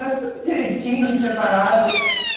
Era tudo direitinho, separado.